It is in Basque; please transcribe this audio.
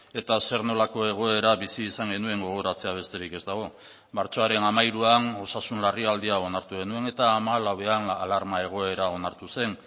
eta zer nolako egoera bizi izan genuen gogoratzea besterik ez dago martxoaren hamairuan osasun larrialdia onartu genuen eta hamalauan alarma egoera onartu zen